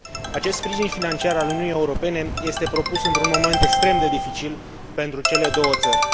Acest sprijin financiar al Uniunii Europene este propus într un moment extrem de dificil pentru cele două țări.